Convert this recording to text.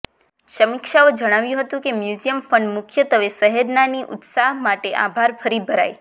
સમીક્ષાઓ જણાવ્યું હતું કે મ્યુઝિયમ ફંડ મુખ્યત્વે શહેરના ની ઉત્સાહ માટે આભાર ફરી ભરાઈ